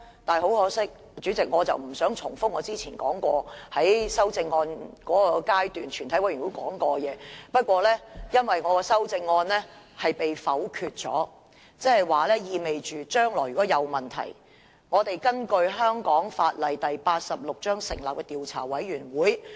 代理主席，我不想重複我之前在全體委員會審議階段說過的內容，但因為我的修正案被否決，意味着將來如果出現問題，我們便要根據香港法例第86章成立調查委員會。